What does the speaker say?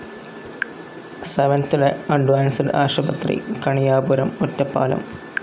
Seventh day advance ആശുപത്രി, കണിയാപുരം, ഒറ്റപ്പാലം.